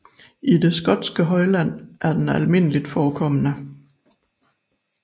I det skotske højland er den almindeligt forekommende